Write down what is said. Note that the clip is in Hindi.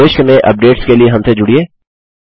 भविष्य में अपडेट्स के लिए हमसे जुड़िये